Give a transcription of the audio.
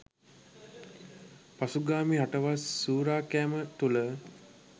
පසුගාමී රටවල් සුරෑකෑම තුල